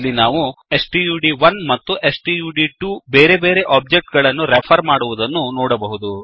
ಇಲ್ಲಿ ನಾವು ಸ್ಟಡ್1 ಮತ್ತು ಸ್ಟಡ್2 ಬೇರೆ ಬೇರೆ ಒಬ್ಜೆಕ್ಟ್ ಗಳನ್ನು ರೆಫರ್ ಮಾಡುವುದನ್ನು ನೋಡಬಹುದು